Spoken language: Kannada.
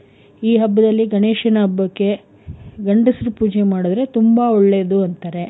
ಈ ಹಬ್ಬದಲ್ಲಿ ಗಣೇಶನ ಹಬ್ಬಕ್ಕೆ ಗಂಡಸ್ರು ಪೂಜೆ ಮಾಡುದ್ರೆ ತುಂಬಾ ಒಳ್ಳೇದು ಅಂತಾರೆ.